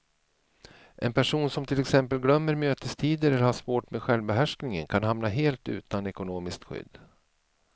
En person som till exempel glömmer mötestider eller har svårt med självbehärskningen kan hamna helt utan ekonomiskt skydd.